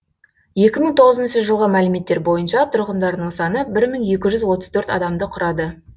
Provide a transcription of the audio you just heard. екі мың тоғызыншы жылғы мәліметтер бойынша тұрғындарының саны бір мың екі жүз отыз төрт адамды құрады